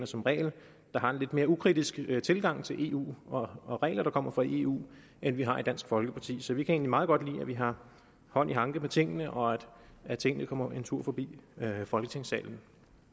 som regel der har en lidt mere ukritisk tilgang til eu og regler der kommer fra eu end vi har i dansk folkeparti så vi kan egentlig meget godt lide at vi har hånd i hanke med tingene og at tingene kommer en tur forbi folketingssalen